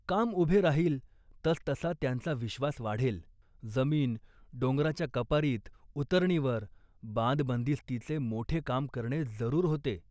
काम उभे राहील तस तसा त्यांचा विश्वास वाढेल. जमीन डोंगराच्या कपारीत उतरणीवर, बांधबंदिस्तीचे मोठे काम करणे जरूर होते